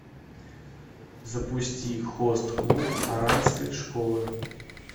запусти хост клуб оранской школы